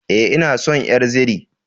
E, ina son ƴar zire.